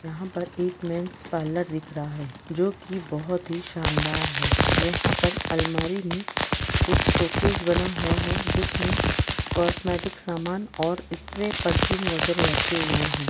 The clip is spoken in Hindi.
''यहां पर एक मेन्स पार्लर दिख रहा है जो कि बहुत ही शानदार है। यहां पर अलमारी में एक शोकेस बना हुआ है जिसमे कॉस्मेटिक्स सामान और स्प्रे परफ्यूम वगेरा रखे हुए हैं।''